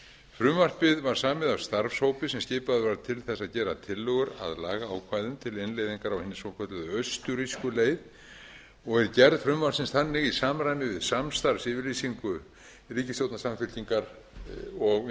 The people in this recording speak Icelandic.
frumvarpið var samið af starfshópi sem skipaður var til þess að gera tillögur að lagaákvæðum til innleiðingar á hinni svokölluðu austurrísku leið er gerð frumvarpsins þannig í samræmi við samstarfsyfirlýsingu ríkisstjórnar samfylkingar og